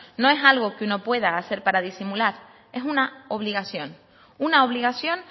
no es algo que uno pueda hacer para disimular es una obligación una obligación